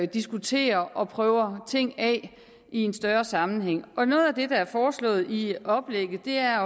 diskuterer og prøver ting af i en større sammenhæng noget af det der er foreslået i oplægget er